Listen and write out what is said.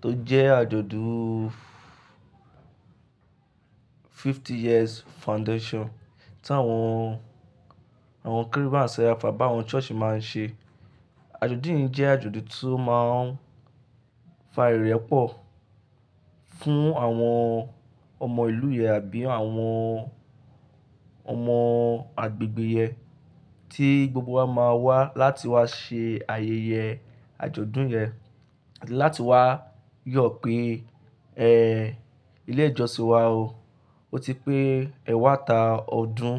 tó jẹ́ àjọ̀dún fifty years foundation tí àwọn, àwọn Kérúbù and Serafu àbí àwọn church máa ń ṣe. Àjọ̀dún yìí jẹ́ àjọ̀dún tó máa ń fa ìrẹ́pọ̀ fún àwọn ọmọ ìlú yẹn àbí àwọn ọmọ agbègbè yẹn tí gbogbo wa máa wá láti wá ṣe ayẹyẹ àjọ̀dún yẹn, láti wá yọ̀ pé, ẹ́ẹ́ ilé ìjọsìn wa o, o ti pé ẹwàta ọdún.